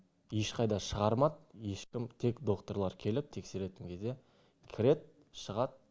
ешқайда шығармат ешкім тек докторлар келіп тексеретін кезде кірет шығат